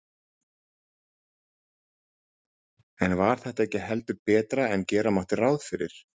En var þetta ekki heldur betra en gera mátti ráð fyrir?